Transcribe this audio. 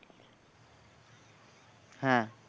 হ্যাঁ